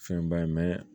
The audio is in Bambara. Fɛnba ye